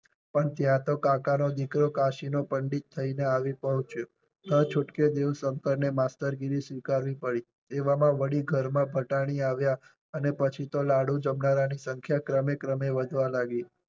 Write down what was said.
પણ ત્યાં તો કાકા નો દીકરો કાશી નો પંડિત થઈ ને આવી પહોંચ્યો. ના છૂટકે દેવ શંકર ને માસ્ટરગિરી સ્વીકારવી પડી. એવામાં વળી ઘરમાં ફટાની આવ્યા અને પછી તો લાડુ જમનારા ની સંખ્યા ક્રમે ક્રમે વધવા લાગી.